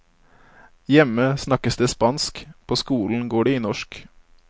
Hjemme snakkes det spansk, på skolen går det i norsk.